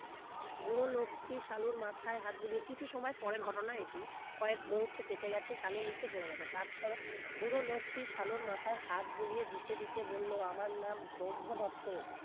বুড়ো লোকটি চালুর মাথায় হাত বুলিয়ে কিছু সময় পরের ঘটনা এটি কয়েক মুহূর্ত কেটে গেছে সালু নিচে পড়ে গেছে তারপর বুড়ো লোকটি শালুর মাথায় হাত বুলিয়ে দিতে দিতে বললো আমার নাম ব্রহ্মদত্ত